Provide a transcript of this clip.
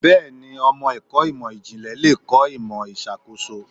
Bẹ́ẹ̀ni, ọmọ ẹ̀kọ́ ìmò ìjìnlẹ̀ le kọ́ ìmò ìṣàkóso.